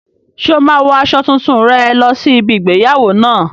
Ṣé o máa wo aṣọ tuntun rẹ lọ sí ibi igbéyàwó náà?